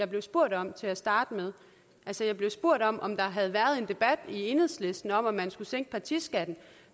blev spurgt om til at starte med altså jeg blev spurgt om om der havde været en debat i enhedslisten om at man skulle sænke partiskatten